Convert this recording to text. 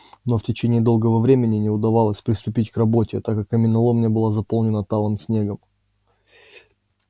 но в течение долгого времени не удавалось приступить к работе так как каменоломня была заполнена талым снегом